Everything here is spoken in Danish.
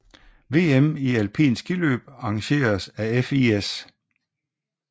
VM i alpint skiløb arrangeret af FIS